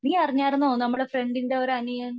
നീ അറിഞ്ഞായിരുന്നോ നമ്മുടെ ഫ്രണ്ടിൻറെ അനിയൻ